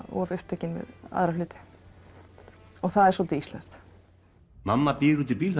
of upptekin við aðra hluti það er svolítið íslenskt mamma bíður úti í bíl